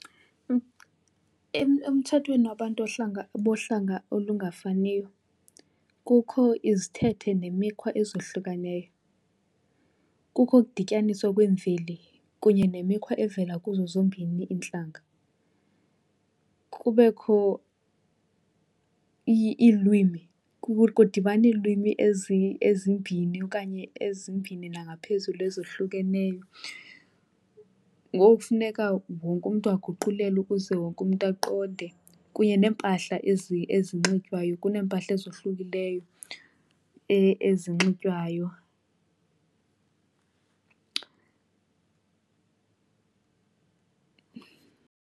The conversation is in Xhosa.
Emtshatweni wabantu bohlanga olungafaniyo kukho izithethe nemikhwa ezohlukaneyo. Kukho ukudityaniswa kweemveli kunye nemikhwa evela kuzo zombini iintlanga. Kubekho iilwimi, kudibana iilwimi ezimbini okanye ezimbini nangaphezulu ezohlukeneyo. Ngoku kufuneka wonke umntu aguqulelwe ukuze wonke umntu aqonde. Kunye neempahla ezinxitywayo, kuneempahla ezohlukileyo ezinxitywayo.